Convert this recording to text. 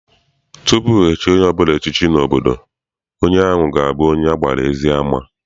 Tupu echie onye ọbụla echiche n'obodo, onye ahụ ga abụ onye agbara ezi ama.